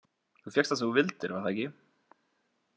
Þú fékkst það sem þú vildir, var það ekki?